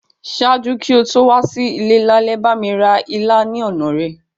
Ṣaaju ki o to wa si ile lálẹ́, bámi ra ilá ni ọna rẹ.